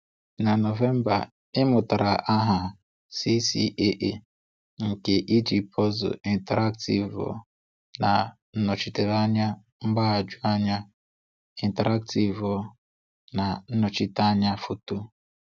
Na November ị mụtara aha CCAA nke i ji puzzle interactivo na Nnọchiteanya mgbaghoju anya interactivo na Nnochite anya foto